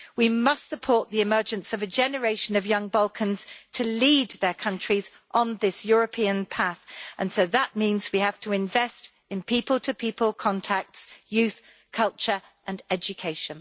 We must support the emergence of a generation of young Balkans to lead their countries on this European path, and so that means we have to invest in people to people contacts, youth, culture and education.